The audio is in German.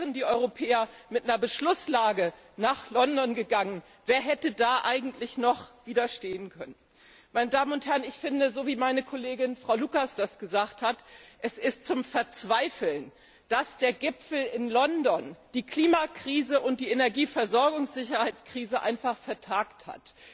Wären die Europäer mit einer Beschlusslage nach London gegangen, wer hätte da eigentlich noch widerstehen können? Ich finde wie meine Kollegin Frau Lucas das gesagt hat es ist zum Verzweifeln, dass der Gipfel in London die Klimakrise und die Energieversorgungssicherheitskrise einfach vertagt hat.